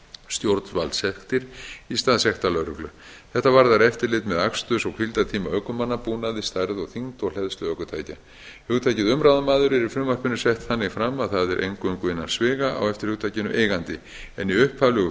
stjórnvaldssektir í stað sektar lögreglu þetta varðar eftirlit með aksturs og hvíldartíma ökumanna búnaði stærð og þyngd og hleðslu ökutækja hugtakið umráðamaður er í frumvarpinu sett þannig fram að það er eingöngu innan sviga á eftir hugtakinu eigandi en í upphaflegu frumvarpi